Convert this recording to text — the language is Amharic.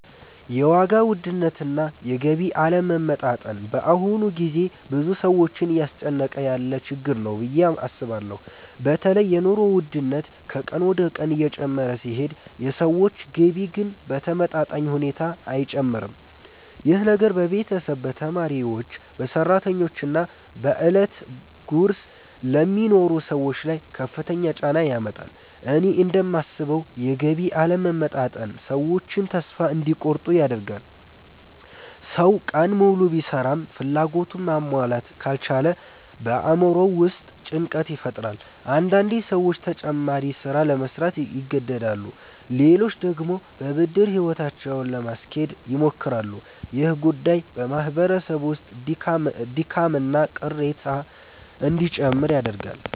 የዋጋ ውድነትና የገቢ አለመመጣጠን በአሁኑ ጊዜ ብዙ ሰዎችን እያስጨነቀ ያለ ችግር ነው ብዬ አስባለሁ። በተለይ የኑሮ ውድነት ከቀን ወደ ቀን እየጨመረ ሲሄድ የሰዎች ገቢ ግን በተመጣጣኝ ሁኔታ አይጨምርም። ይህ ነገር በቤተሰብ፣ በተማሪዎች፣ በሰራተኞች እና በዕለት ጉርስ ለሚኖሩ ሰዎች ላይ ከፍተኛ ጫና ያመጣል። እኔ እንደማስበው የገቢ አለመመጣጠን ሰዎችን ተስፋ እንዲቆርጡ ያደርጋል። ሰው ቀን ሙሉ ቢሰራም ፍላጎቱን ማሟላት ካልቻለ በአእምሮው ውስጥ ጭንቀት ይፈጠራል። አንዳንዴ ሰዎች ተጨማሪ ሥራ ለመሥራት ይገደዳሉ፣ ሌሎች ደግሞ በብድር ሕይወታቸውን ለማስኬድ ይሞክራሉ። ይህ ጉዳይ በማህበረሰብ ውስጥ ድካምና ቅሬታ እንዲጨምር ያደርጋል።